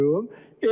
Endim.